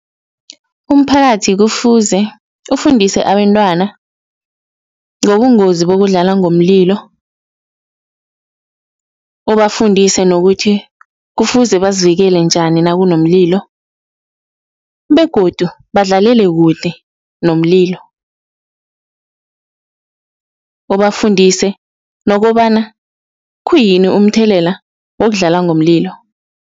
Umphakathi kufuze ufundise abentwana ngobungozi bokudlala ngomlilo, ubafundise nokuthi kufuze bazivikele njani nakunomlilo begodu badlalele kude nomlilo, ubafundise nokobana khuyini umthelela wokudlala ngomlilo.